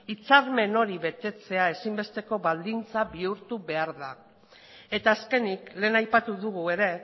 hitzarmen hori betetzea ezinbesteko baldintza bihurtu behar da eta azkenik lehen aipatu dugu ere